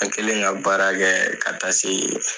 An kɛlen ka baara kɛɛ ka taa see f